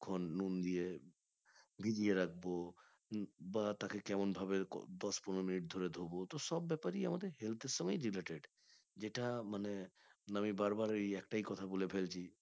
কতক্ষন নুন দিয়ে ভিজিয়ে রাখবো বা তাকে কেমন ভাবে দশ পনেরো মিনিট ধরে ধোবো তোর সব ব্যাপারে আমাদের health এর সময় related এটা মানে আমি বারবার এই একটাই কথা বলে ফেলছি